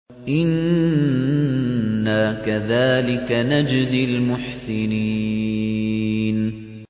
إِنَّا كَذَٰلِكَ نَجْزِي الْمُحْسِنِينَ